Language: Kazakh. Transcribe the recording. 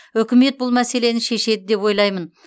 үкімет бұл мәселені шешеді деп ойлаймын